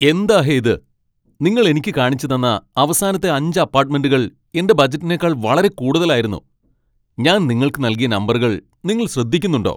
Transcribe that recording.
എന്താ ഹേ ഇത്? നിങ്ങൾ എനിക്ക് കാണിച്ചുതന്ന അവസാനത്തെ അഞ്ച് അപ്പാട്ട്മെന്റുകൾ എന്റെ ബജറ്റിനേക്കാൾ വളരെ കൂടുതലായിരുന്നു. ഞാൻ നിങ്ങൾക്ക് നൽകിയ നമ്പറുകൾ നിങ്ങൾ ശ്രദ്ധിക്കുന്നുണ്ടോ?